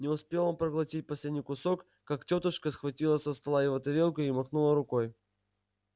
не успел он проглотить последний кусок как тётушка схватила со стола его тарелку и махнула рукой